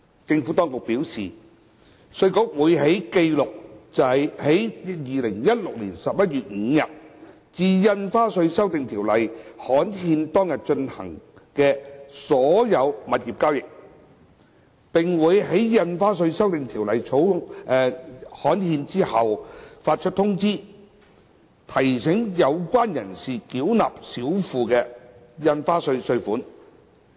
政府當局表示，稅務局會記錄在2016年11月5日至《印花稅條例》刊憲當日進行的所有物業交易，並會在《印花稅條例》刊憲後發出通知書，提醒有關人士繳納少付的印花稅稅款。